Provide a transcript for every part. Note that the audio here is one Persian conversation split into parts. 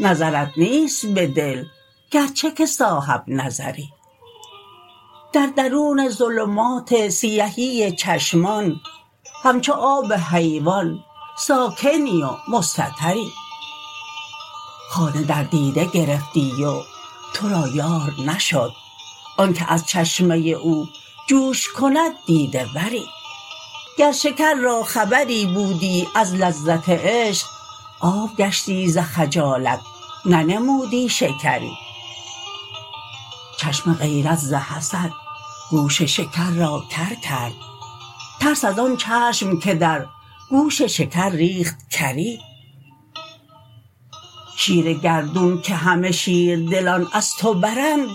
نظرت نیست به دل گرچه که صاحب نظری در درون ظلمات سیهی چشمان همچو آب حیوان ساکنی و مستتری خانه در دیده گرفتی و تو را یار نشد آنک از چشمه او جوش کند دیده وری گر شکر را خبری بودی از لذت عشق آب گشتی ز خجالت ننمودی شکری چشم غیرت ز حسد گوش شکر را کر کرد ترس از آن چشم که در گوش شکر ریخت کری شیر گردون که همه شیردلان از تو برند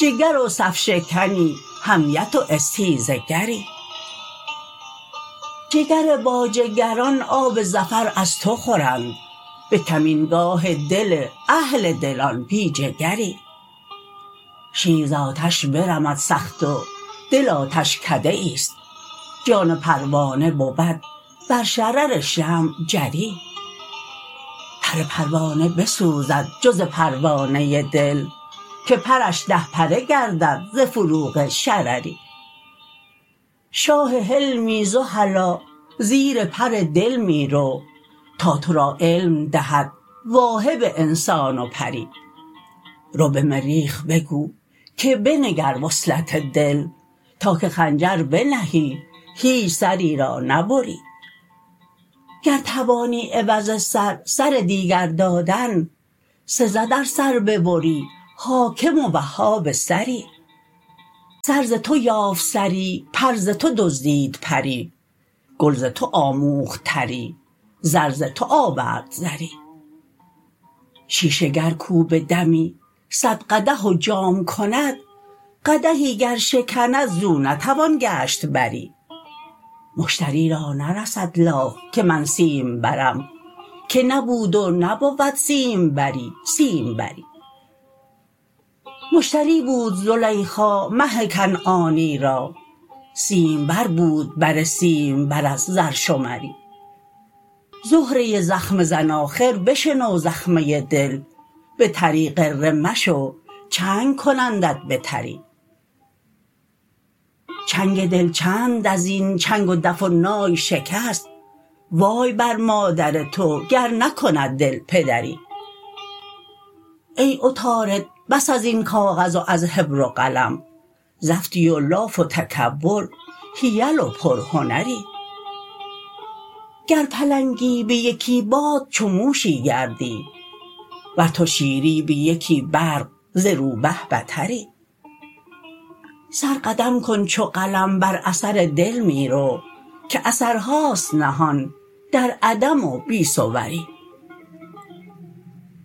جگر و صف شکنی حمیت و استیزه گری جگر باجگران آب ظفر از تو خورند به کمینگاه دل اهل دلان بی جگری شیر ز آتش برمد سخت و دل آتشکده ای است جان پروانه بود بر شرر شمع جری پر پروانه بسوزد جز پروانه دل که پرش ده پره گردد ز فروغ شرری شاه حلمی ز خلاء زیر پر دل می رو تا تو را علم دهد واهب انسان و پری رو به مریخ بگو که بنگر وصلت دل تا که خنجر بنهی هیچ سری را نبری گر توانی عوض سر سر دیگر دادن سزد ار سر ببری حاکم و وهاب سری سر ز تو یافت سری پر ز تو دزدید پری ز تو آموخت تری و ز تو آورد زری شیشه گر کو به دمی صد قدح و جام کند قدحی گر شکند زو نتوان گشت بری مشتری را نرسد لاف که من سیمبرم که نبود و نبود سیمبری سیم بری مشتری بود زلیخا مه کنعانی را سیم بر بود بر سیم بر از زرشمری زهره زخمه زن آخر بشنو زخمه دل بتری غره مشو چنگ کنندت بتری چنگ دل چند از این چنگ و دف و نای شکست وای بر مادر تو گر نکند دل پدری ای عطارد بس از این کاغذ و از حبر و قلم زفتی و لاف و تکبر حیل و پرهنری گر پلنگی به یکی باد چو موشی گردی ور تو شیری به یکی برق ز روبه بتری سر قدم کن چو قلم بر اثر دل می رو که اثرهاست نهان در عدم و بی صوری